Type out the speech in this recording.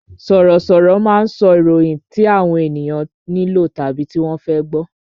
Sọ̀rọ̀ sọ̀rọ̀ máa ń sọ ìròyìn tí àwọn ènìyàn nílò tàbí tí wọ́n fẹ́ gbọ